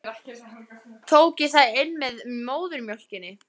Tók ég það inn með móðurmjólkinni?